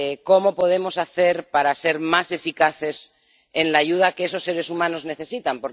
¿Cómo podemos hacer para ser más eficaces en la ayuda que esos seres humanos necesitan?